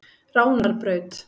Ránarbraut